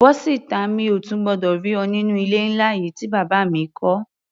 Bọ́ síta! Mi ò tún gbọdọ̀ rí ọ nínú ilé ńlá yìí tí bàbá mi kọ́.